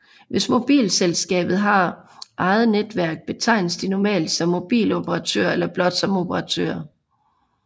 Hvis mobilselskabet har eget netværk betegnes de normalt som mobiloperatører eller blot som operatører